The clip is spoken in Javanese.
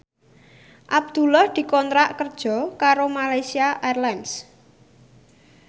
Abdullah dikontrak kerja karo Malaysia Airlines